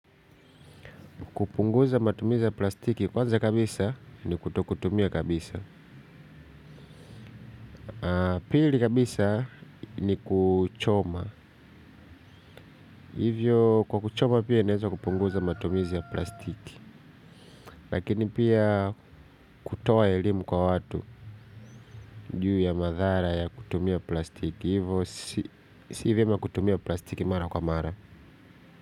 Kupunguza matumizi ya plastiki kwanza kabisa ni kutokutumia kabisa. Pili kabisa ni kuchoma. Hivyo kwa kuchoma pia inaeza kupunguza matumizi ya plastiki. Lakini pia kutoa elimu kwa watu. Juu ya madhara ya kutumia plastiki. Hivyo si vyema kutumia plastiki mara kwa mara.